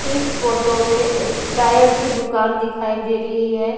इस फोटो में एक टायर की दुकान दिखाई दे रही है।